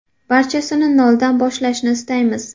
Barchasini noldan boshlashni istaymiz.